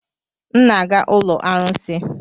M na-aga ụlọ arụsị.